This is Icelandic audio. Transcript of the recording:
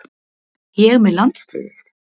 Ég með landsliðið?